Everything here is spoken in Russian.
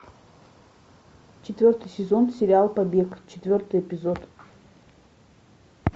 четвертый сезон сериал побег четвертый эпизод